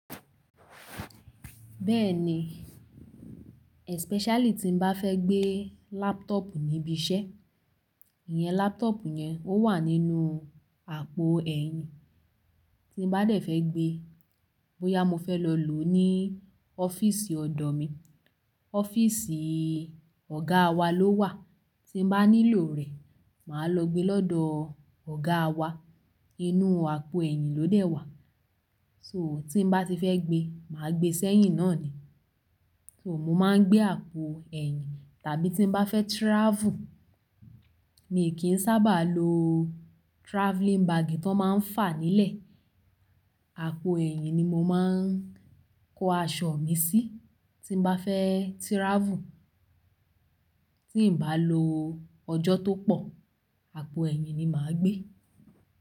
Bẹ́ẹ̀ni, especially tí n bá fẹ́ gbé laptop níbi iṣẹ́, ìyẹn laptop yẹn ó wà nínú àpò ẹ̀yìn. Tí n bá dẹ̀ fẹ́ gbé, bóyá mo fẹ́ lọ lò ó ní ọ́fíìsì ọ̀dọ̀ mi, ọ́fíìsì ọ̀gá wa ló wà. Tí n bá nílò rẹ̀, màá lọ gbé lọ́dọ̀ ọ̀gá wa, inú àpò ẹ̀yìn ló dẹ̀ wà. So tí n bá ti fẹ́ gbé, màá gbé sẹ́yìn náà ni. So mo máa ń gbé àpò ẹ̀yìn, tàbí tí n bá fẹ́ travel, mi kì í sábà lo travelling bag tó máa ń fà nílẹ̀. Àpò ẹ̀yìn ni mo máa ń kó aṣọ mi sí tí n bá fẹ́ travel. Tí n bá lo ọjọ́ tó pọ̀, àpò ẹ̀yìn ni màá gbé.